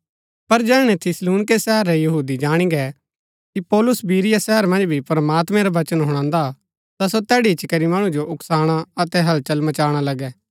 पर जैहणै थिस्सलुनीके शहर रै यहूदी जाणी गै कि पौलुस बिरीया शहर मन्ज भी प्रमात्मैं रा वचन हुणान्दा ता सो तैड़ी इच्ची करी मणु जो उकसाणा अतै हलचल मचाणा लगै